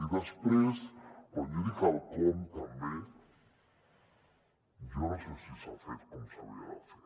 i després quan jo dic el com també jo no sé si s’ha fet com s’havia de fer